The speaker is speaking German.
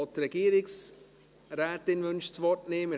Auch die Regierungsrätin wünscht das Wort nicht.